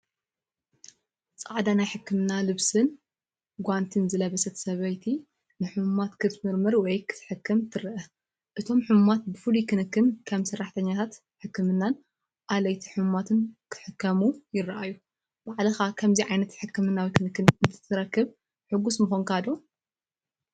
ጻዕዳ ናይ ሕክምና ልብስን ጓንቲን ዝለበሰት ሰበይቲ ንሕሙማት ክትምርምር ወይ ክትሕክም ትርአ። እቶም ሕሙማት ብፍሉይ ክንክን፡ ከም ሰራሕተኛታት ሕክምናን ኣለይቲ ሕሙማትን ክሕከሙ ይረኣዩ። ባዕልኻ ከምዚ ዓይነት ሕክምናዊ ክንክን እንተትረክብ ሕጉስ ምዀንካዶ?